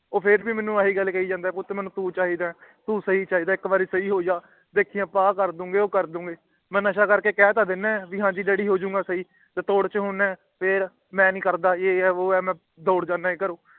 ਉਹ ਫੇਰ ਭੀ ਮੇਹਣੁ ਆਹੀ ਕਹਿ ਜਾਂਦਾ ਹੈ ਕਿ ਪੁੱਤ ਮੇਨੂ ਤੂੰ ਚਾਹੀਦਾ ਹੈ ਤੂੰ ਸਹੀ ਚਾਹੀਦਾ ਹੈ ਇਕ ਬਾਰੀ ਸਹੀ ਹੋ ਜਾ ਵੇਖੀ ਆਪਾ ਆ ਕਾਰਦਾਗੇ ਉਹ ਕਾਰਦਾਂਗੇ ਮਈ ਨਸ਼ਾ ਕਰਕੇ ਕਹਿ ਤਾਂ ਦਿੰਨਾ ਕਿ ਹੈ ਡੱਡੀ ਹੂ ਜੂੰਗਾ ਸਹੀ ਟੀ ਤੋਰ ਛੇ ਹੋਂਦ ਹੈ ਫੇਰ ਮੈ ਨੀ ਕਰਦਾ ਇਹ ਹ ਉਹ ਹ ਤੇ ਤੋਰ ਜਾਂਦਾ ਘਰੋਂ